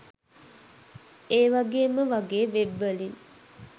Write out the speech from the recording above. ඒවගේම වගේ වෙබ් වලින්